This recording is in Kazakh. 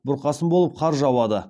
бұрқасын болып қар жауады